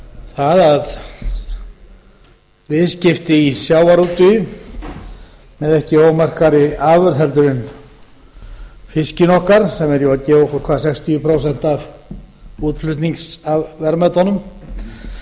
það að viðskipti í sjávarútvegi með ekki ómerkari afurð heldur en fiskinn okkar sem er að gefa okkur sextíu prósent af útflutningsverðmætunum